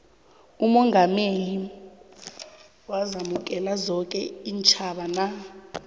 umongameli wazamukela zoke iintjhaba na